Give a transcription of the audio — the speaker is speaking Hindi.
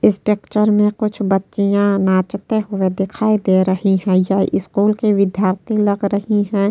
इस पिक्चर में कुछ बच्चिया नाचते हुए दिखाई दे रही हैं। यह स्कूल के विधार्थी लग रही हैं।